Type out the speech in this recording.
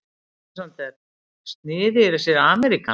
ALEXANDER: Sniðugir þessir ameríkanar.